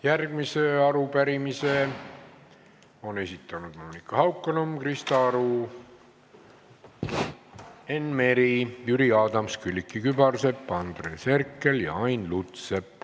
Järgmise arupärimise on esitanud Monika Haukanõmm, Krista Aru, Enn Meri, Jüri Adams, Külliki Kübarsepp, Andres Herkel ja Ain Lutsepp.